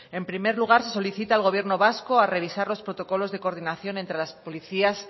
en primer lugar se solicita al gobierno vasco a revisar los protocolos de coordinación entre las policías